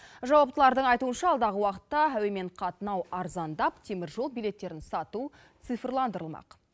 жауаптылардың айтуынша алдағы уақытта әуемен қатынау арзандап теміржол билеттерін сату цифрландырылмақ